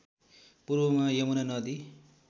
पूर्वमा यमुना नदी